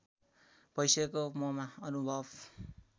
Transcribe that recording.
भइसकेको ममा अनुभव